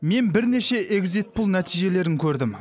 мен бірнеше экзит пол нәтижелерін көрдім